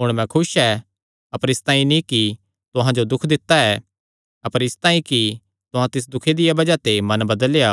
हुण मैं खुस ऐ अपर इसतांई नीं कि तुहां जो दुख दित्ता ऐ अपर इसतांई कि तुहां तिस दुखे दिया बज़ाह ते मन बदलेया